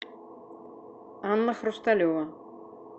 анна хрусталева